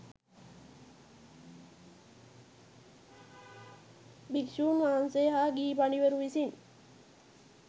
භික්‍ෂූන් වහන්සේ හා ගිහි පඬිවරුන් විසින්